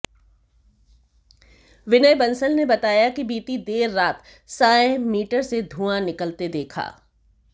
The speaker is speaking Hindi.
विनय बंसल ने बताया कि बीती देर सायं मीटर से धुआं निकलते देखा